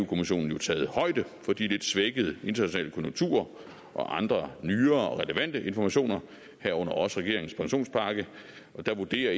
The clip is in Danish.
kommissionen jo taget højde for de lidt svækkede internationale konjunkturer og andre nye og relevante informationer herunder også regeringens pensionspakke og der vurderer